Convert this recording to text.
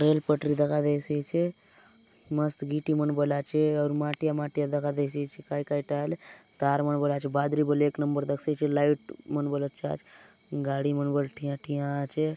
रेल पटरी दखा देयसि आचे मस्त गिट्टी मन बले आचे आउर माटिया - माटिया दखा देयसि आचे काय काय टा आय आले कार मन बले आचे बादरी बले एक नंबर दखसि आचे लाइट मन बले अच्छा आचे गाड़ी मन बले ठीया-ठीया आचे।